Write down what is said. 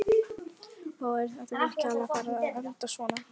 Og er þetta virkilega að fara að enda svona?